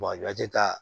a tɛ ka